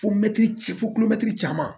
Fo fo caman